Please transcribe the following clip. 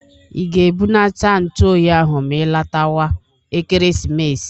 I ga-ebunata ntu oyi ahụ ma i latawa Ekeresimesi?